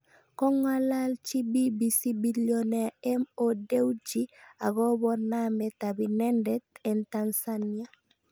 Kong'alalchi BBC billioner Mo Dewji akobo namet ab inendet eng Tansania